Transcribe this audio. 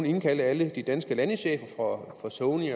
indkalde alle de danske landechefer for sony